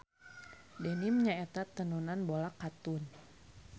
Denim nyaeta tenunan bola katun.